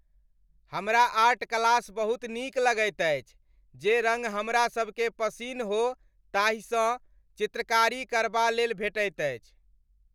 हमरा art class बहुत नीक लगैत अछि। जे रङ्ग हमरा सभकेँ पसिन हो ताहिएसँ चित्रकारी करबालेल भेटैत अछि।